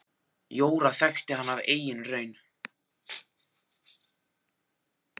Jóra þekkti hana af eigin raun.